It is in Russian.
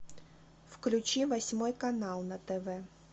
включи восьмой канал на тв